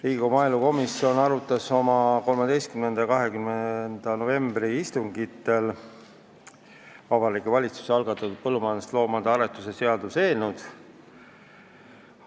Riigikogu maaelukomisjon arutas oma 13. ja 20. novembri istungil Vabariigi Valitsuse algatatud põllumajandusloomade aretuse seaduse eelnõu.